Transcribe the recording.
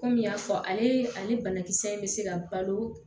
Kɔmi n y'a fɔ ale ale banakisɛ in bɛ se ka balo